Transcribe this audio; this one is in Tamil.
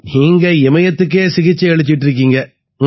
நீங்க இமயத்துக்கே சிகிச்சை அளிச்சுக்கிட்டு இருக்கீங்க